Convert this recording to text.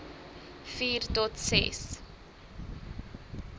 vier tot ses